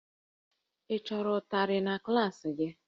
Ị chọrọ ụtarị na klaasị gị?